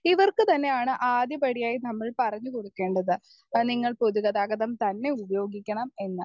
Speaker 1 ഇവർക്ക് തന്നെയാണ് ആദ്യപടിയായി നമ്മൾ പറഞ്ഞു കൊടുക്കേണ്ടത് അത് നിങ്ങൾ പൊതുഗതാഗതം തന്നെ ഉപയോഗിക്കണം എന്ന്.